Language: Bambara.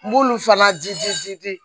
N b'olu fana jidi ji di